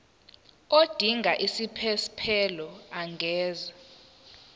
odinga isiphesphelo angenza